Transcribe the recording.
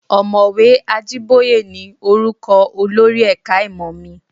Òmọ̀wé Ajíbóyé ni orúkọ olórí ẹ̀ka ìmọ̀ mi